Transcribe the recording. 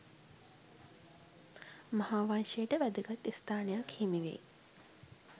මහා වංශයට වැදගත් ස්ථානයක් හිමිවෙයි.